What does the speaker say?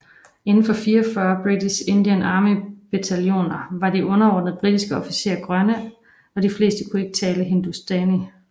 Inden for 44 British Indian Army bataljoner var de underordnede britiske officerer grønne og de fleste kunne ikke tale Hindustani